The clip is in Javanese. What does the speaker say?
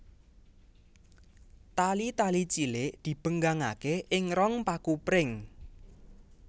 Tali tali cilik dibenggangaké ing rong paku pring